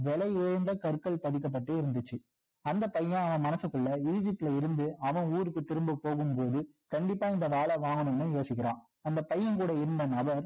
விலை உயர்ந்த கற்கள் பதிக்கப்பட்டு இருந்துச்சு அந்த பையன் அவன் மனசுகுள்ள egypt ல இருந்து அவன் ஊருக்கு திரும்ப போகும் போது கண்டிப்பா இந்த வாள வாங்கணும்னு யோசிக்கிறான் அந்த பையன் கூட இருந்த நபர்